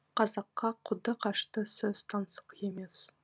қазаққа қуды қашты сөз таңсық емес